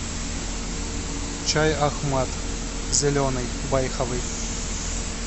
чай ахмад зеленый байховый